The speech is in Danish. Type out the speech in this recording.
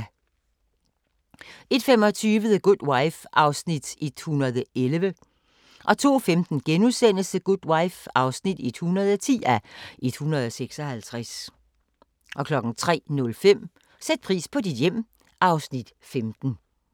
01:25: The Good Wife (111:156) 02:15: The Good Wife (110:156)* 03:05: Sæt pris på dit hjem (Afs. 15)